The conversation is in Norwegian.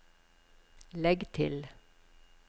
legg til